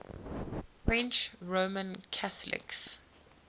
french roman catholics